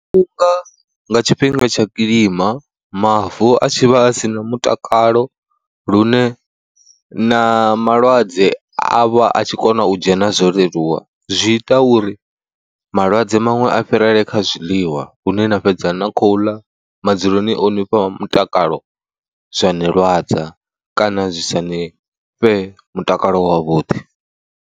Nga tshifhinga tsha kilima mavu a tshi vha a sina mutakalo lune na malwadze a vha a tshi kona u dzhena zwo leluwa, zwi ita uri malwadze maṅwe a fhirele kha zwiḽiwa lune na fhedza na khou ḽa madzuloni o ni fha mutakalo zwa ni lwadza kana zwi sa ni fhe mutakalo wavhuḓi.